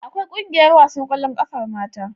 Akwai ƙungiyar wasan ƙwallon ƙafar mata.